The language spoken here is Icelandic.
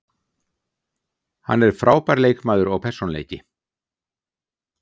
Hann er frábær leikmaður og persónuleiki.